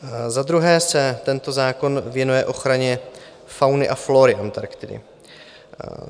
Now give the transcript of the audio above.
Za druhé se tento zákon věnuje ochraně fauny a flóry Antarktidy.